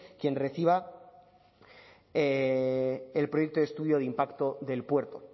quien reciba el proyecto estudio de impacto del puerto